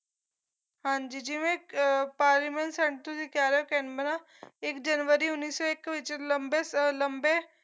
ਹਾਂਜੀ ਜਿਵੇਂ ਅਹ parliament sanctuary ਕਹਿਲੋ ਕੈਨਬਰਾ ਇੱਕ ਜਨਵਰੀ ਉੱਨੀ ਸੌ ਇੱਕ ਵਿੱਚ ਲੰਬੇ ਸ ਲੰਬੇ